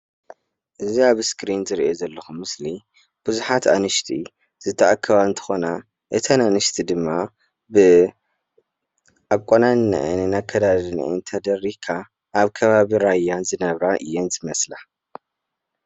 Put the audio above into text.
እዚ ምስሊ ብዙሓት ኣንስቲ ብባህላዊ አሰራርሓ ዝማዕረጋ እንትኾና ናይ ራያ ቅዲ ከዓ የመላኽት።